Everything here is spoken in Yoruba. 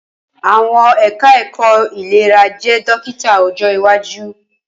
Awọn eka-eko ilera je dokita ojo iwaju